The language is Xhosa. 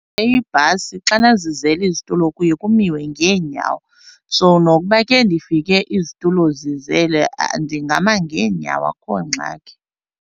Iibhasi xana zizele izitulo ke uye kumiwe ngeenyawo, so nokuba ke ndifike izitulo zizele ndingama ngeenyawo akho ngxaki.